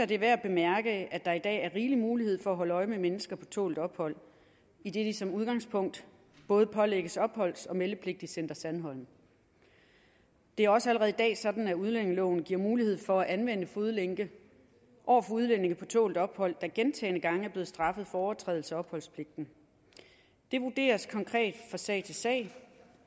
det er værd at bemærke at der i dag er rigelig mulighed for at holde øje med mennesker på tålt ophold idet de som udgangspunkt både pålægges opholds og meldepligt i center sandholm det er også allerede i dag sådan at udlændingeloven giver mulighed for at anvende fodlænke over for udlændinge på tålt ophold der gentagne gange er blevet straffet for overtrædelse af opholdspligten det vurderes konkret fra sag til sag